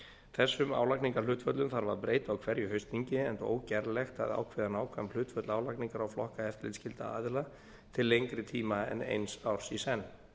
þessum álagningarhlutföllum þarf að breyta á hverju haustþingi enda ógerlegt að ákveða nákvæm hlutföll álagningar á flokka eftirlitsskyldra aðila til lengri tíma en eins árs í senn